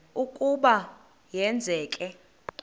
ukuba ma yenzeke